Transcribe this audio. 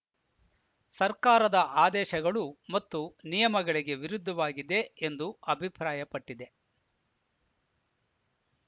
ಸರ್ಕಾರದ ಆದೇಶಗಳು ಮತ್ತು ನಿಯಮಗಳಿಗೆ ವಿರುದ್ಧವಾಗಿದೆ ಎಂದು ಅಭಿಪ್ರಾಯಪಟ್ಟಿದೆ